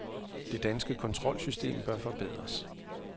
Det danske kontrolsystem bør forbedres.